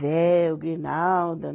Véu, grinalda.